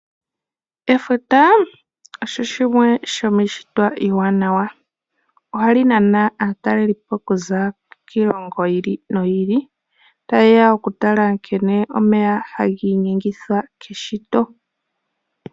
Efuta osho shimwe shomi ishitwa iwanawa. Ohali nana aatalelipo kuza kiilongo yiili noyi ili. Tayeya oku tala nkene omeya haga inyengithwa keshito.